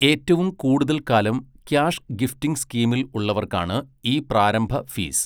ഏറ്റവും കൂടുതൽ കാലം ക്യാഷ് ഗിഫ്റ്റിംഗ് സ്കീമിൽ ഉള്ളവർക്കാണ് ഈ പ്രാരംഭ ഫീസ്.